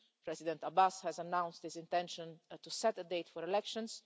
President Abbas has announced his intention to set a date for elections.